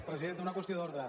presidenta una qüestió d’ordre